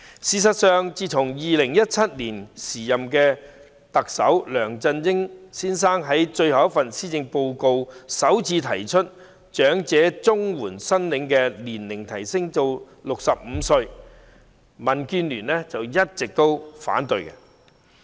事實上，自從2017年時任特首梁振英先生在最後一份施政報告中首次提出把長者綜援的合資格年齡提升至65歲，民建聯便一直反對。